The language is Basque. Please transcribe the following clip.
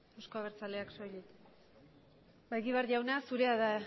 euzko abertzaleak soilik ba egibar jauna zurea da